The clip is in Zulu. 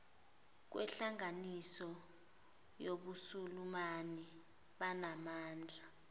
kwenhlanganiso yobusulumani banamandla